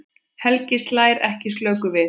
Helgi slær ekki slöku við.